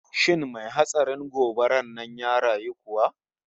Shin mai hatsarin gobarar nan ya rayu kuwa?